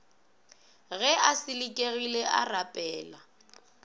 ge a selekegile a rapela